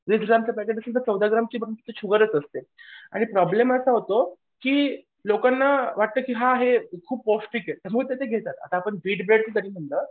वीस ग्रामचं पॅकेट असलं तर चौदा ग्रामची फक्त शुगरच असते. आणि प्रॉब्लेम असा होतो की लोकांना वाटतं की हां हे खूप पौष्टिक आहे. त्यामुळे ते घेतात आता आपण